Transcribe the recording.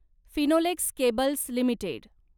Finolex cables limited